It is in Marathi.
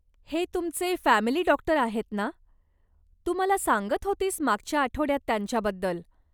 हे, तुमचे फॅमिली डॉक्टर आहेत ना? तू मला सांगत होतीस मागच्या आठवड्यात त्यांच्याबद्दल.